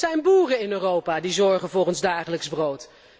Het zijn boeren in Europa die zorgen voor ons dagelijks brood.